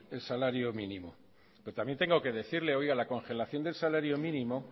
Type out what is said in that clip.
el salario mínimo pero también tengo que decirle que la congelación del salario mínimo